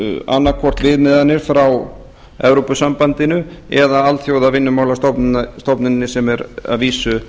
annað hvort viðmiðanir frá evrópusambandinu eða alþjóðavinnumálastofnuninni sem er að vísu